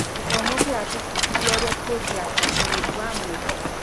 Gĩthomo kĩratũbundithia ũrĩa tũngĩaka ũrori wa mwĩhoko.